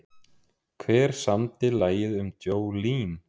Hver samdi lagið um Jolene?